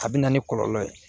A bɛ na ni kɔlɔlɔ ye